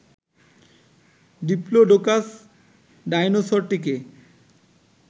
Diplodocus ডায়নোসরটিকে